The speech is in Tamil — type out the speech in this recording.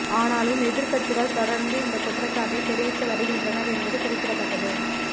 ஆனாலும் எதிர்க்கட்சிகள் தொடர்ந்து இந்த குற்றச்சாட்டை தெரிவித்து வருகின்றனர் என்பது குறிப்பிடத்தக்கது